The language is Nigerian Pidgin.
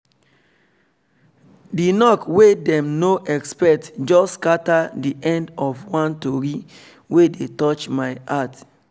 the knok wey them no expect just scatter the end of one tori wey dey touch my heart